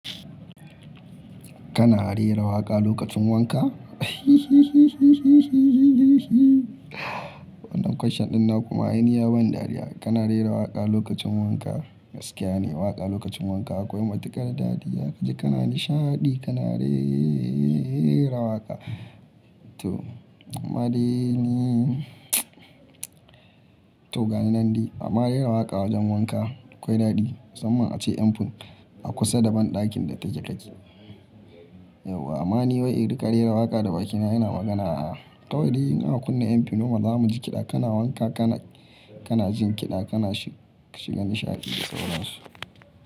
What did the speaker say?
Kana rera waƙa lokacin wanka? Wannan question ɗin na kuma yi niyyar ban dariya. Kana rera waƙa lokacin wanka? Gaskiya ne, waƙa lokacin wanka akwai matuƙar daɗi. Ya ka ji kana nishaɗi kana re-e-e-era waƙa. To, amma dai ni to gani nan dai. A ma rera waƙa wajen wanka akwai daɗi. Samman ma ace mfin a kusa da banɗakin da take kake. Eh, wa-- ama ni wai iri ka rera waƙa da bakina yana magana. A'a, kawai dai in aka kunna mfin noma za mu ji kiɗa. Kana wanka kana, kana jin kiɗa kana shi-shiga nishaɗi da sauran su.